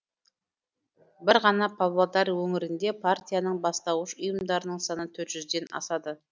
бір ғана павлодар өңірінде партияның бастауыш ұйымдарының саны төрт жүзден асады